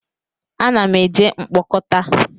A na m eje mkpokota